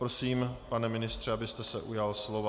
Prosím, pane ministře, abyste se ujal slova.